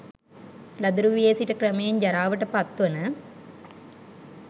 ළදරු වියේ සිට ක්‍රමයෙන් ජරාවට පත්වන